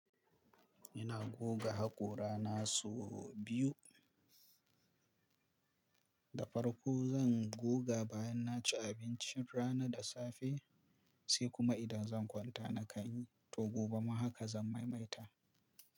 Ina goga haƙora na sau biyu. Da farko zan goga bayan naci abincin rana da safe, sai kuma idan zan kwanta na kai. To gobe ma haka zan maimaita.